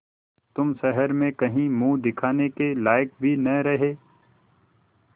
तुम शहर में कहीं मुँह दिखाने के लायक भी न रहे